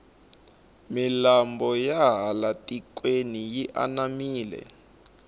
milambo ya laha tikweni yi anamile